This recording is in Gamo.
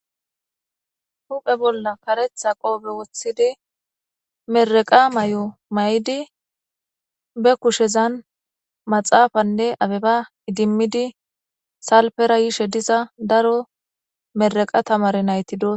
huphe bolla karetha qoobe woththidi meraqa may7o may7idi be kushezan maxaafanne abeba idimmidi salpera yishe diza daro meraqa tamare nayti dos